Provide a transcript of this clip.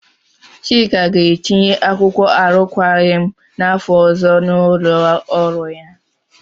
Chika ga-etinye akwụkwọ arụkwaghị m n'afọ ọzọ n'ụlọ ọrụ ya.